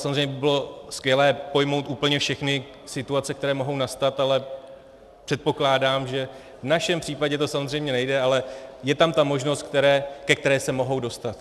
Samozřejmě by bylo skvělé pojmout úplně všechny situace, které mohou nastat, ale předpokládám, že v našem případě to samozřejmě nejde, ale je tam ta možnost, ke které se mohou dostat.